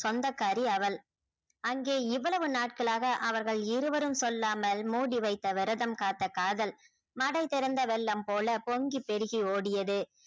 சொந்தக்காரி அவள் அங்கே இவ்வளவு நாட்களாக அவர்கள் இருவரும் சொல்லாமல் மூடி வைத்து விரதம் காத்த காதல மடை திறந்த வெள்ளம் போல பொங்கி பெருகி ஓடியது